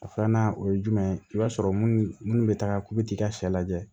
A filanan o ye jumɛn ye i b'a sɔrɔ minnu bɛ taga k'u bɛ t'i ka sɛ lajɛ